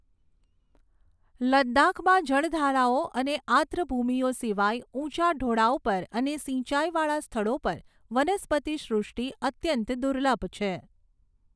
લદ્દાખમાં જળધારાઓ અને આદ્રભૂમિઓ સિવાય, ઊંચા ઢોળાવ પર અને સિંચાઈવાળા સ્થળો પર વનસ્પતિ સૃષ્ટિ અત્યંત દુર્લભ છે.